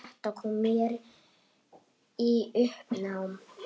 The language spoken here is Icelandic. Þetta kom mér í uppnám